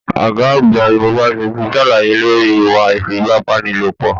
Ọgá àgbà yunifásítì sàlàyé lórí ìwà ifipabanilopọ.